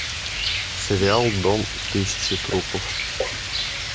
сериал дом тысячи трупов